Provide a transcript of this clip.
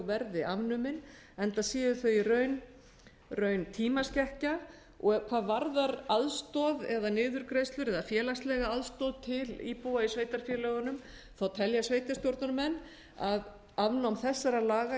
verði afnumin enda séu þau í raun tímaskekkja og hvað varðar aðstoð eða niðurgreiðslur eða félagslega aðstoð til íbúa í sveitarfélögunum telja sveitarstjórnarmenn að afnám þessara laga